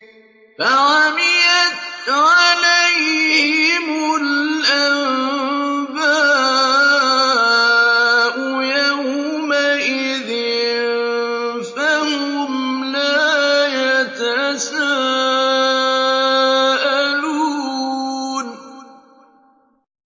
فَعَمِيَتْ عَلَيْهِمُ الْأَنبَاءُ يَوْمَئِذٍ فَهُمْ لَا يَتَسَاءَلُونَ